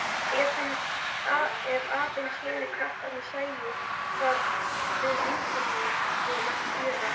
Ef aðeins hinir krakkarnir sæju hvað við vorum að gera.